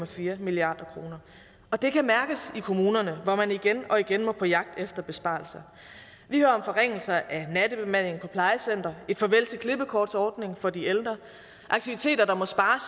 fire milliard kr og det kan mærkes i kommunerne hvor man igen og igen må på jagt efter besparelser vi hører om forringelser af natbemandingen på plejecentre et farvel til klippekortsordningen for de ældre aktiviteter der må spares